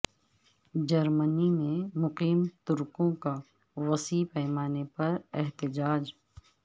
جرمنی میں مقیم ترکوں کا وسیع پیمانے پر احتجاج